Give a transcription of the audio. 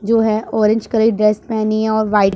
जो है orange colour dress पहनी है और व्हाइट --